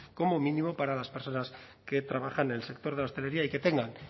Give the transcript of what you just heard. como mínimo para las personas que trabajan en el sector de la hostelería y que tengan